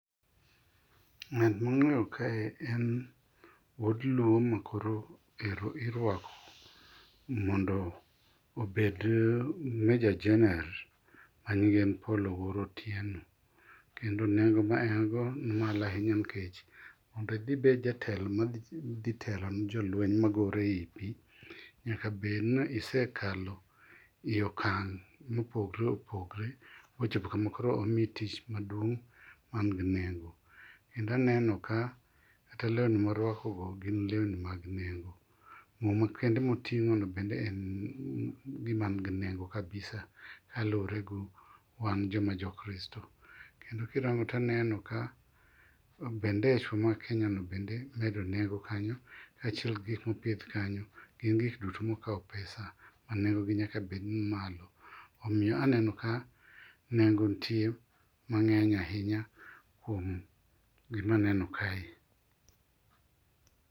Ng'at mang'eyo kae en wuod luo makoro irwako mondo obed meja jener manyinge en Paul Owuor Otieno. Kendo nengo ma en go ni malo ahinya nikech mondo idhi ibed jatelo madhi telo ni jolueny magore ei pi, nyaka bed ni isekalo iokang' mopogre opogre mochopo kama koro imiyi tich maduong' man gi nego. Kendo aneno ka kata lewni moruako go gin lewni man gi nengo. Muma kende moting'ono bende en gima ni gi ne go kabisa kaluwore gi wan joma jo Kristo. Kendo kirango to aneno ka bendechwa mar Kenya no bende medo nengo kanyo. Kaachiel gi gik moket kanyo gin gik duto mokawo pesa ma nengogi nyaka bed malo. Omiyo aneno ka nengo nitie mang'eny ahinya kuom gima aneno kae.